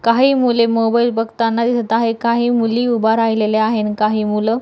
काही मुले मोबाइल बघताना दिसत आहे काही मुली उभा राहिलेल्या आहे आन काही मूल --